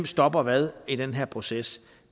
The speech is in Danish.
stopper hvad i den her proces